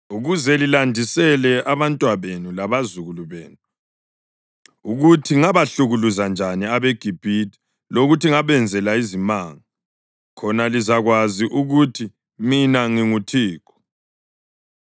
ukuze lilandisele abantwabenu labazukulu benu ukuthi ngabahlukuluza njani abeGibhithe lokuthi ngabenzela izimanga, khona lizakwazi ukuthi mina nginguThixo.”